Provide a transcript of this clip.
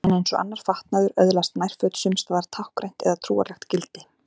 En eins og annar fatnaður öðlast nærföt sums staðar táknrænt eða trúarlegt gildi.